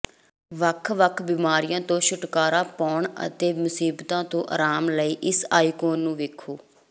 ਵੱਖ ਵੱਖ ਬਿਮਾਰੀਆਂ ਤੋਂ ਛੁਟਕਾਰਾ ਪਾਉਣ ਅਤੇ ਮੁਸੀਬਤਾਂ ਤੋਂ ਆਰਾਮ ਲਈ ਇਸ ਆਈਕੋਨ ਨੂੰ ਵੇਖੋ